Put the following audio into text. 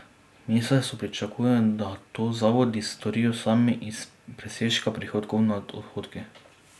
Ministrstvo pričakuje, da to zavodi storijo sami iz presežka prihodkov nad odhodki.